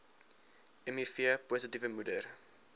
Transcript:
miv positiewe moeder